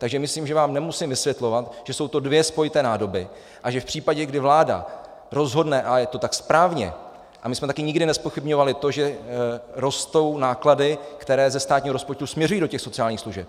Takže myslím, že vám nemusím vysvětlovat, že jsou to dvě spojité nádoby a že v případě, kdy vláda rozhodne - a je to tak správně a my jsme taky nikdy nezpochybňovali to, že rostou náklady, které ze státního rozpočtu směřují do těch sociálních služeb.